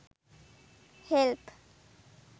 help